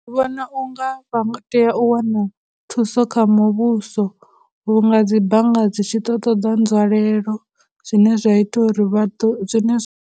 Ndi vhona u nga vha tea u wana thuso kha muvhuso vhu nga dzibannga dzi tshi ḓo ṱoḓa nzwalelo zwine zwa ita uri vha ḓo, zwine zwa.